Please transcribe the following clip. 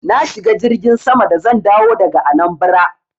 Na shiga jirgin sama da zan dawo daga Anambra.